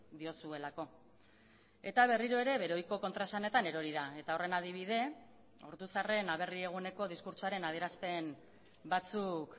diozuelako eta berriro ere bere ohiko kontraesanetan erori da eta horren adibide ortuzarren aberri eguneko diskurtsoaren adierazpen batzuk